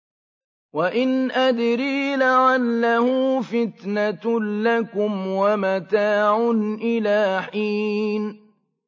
وَإِنْ أَدْرِي لَعَلَّهُ فِتْنَةٌ لَّكُمْ وَمَتَاعٌ إِلَىٰ حِينٍ